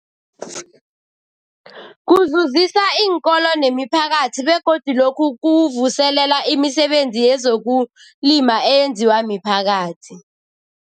Kuzuzisa iinkolo nemiphakathi begodu lokhu kuvuselela imisebenzi yezokulima eyenziwa miphakathi.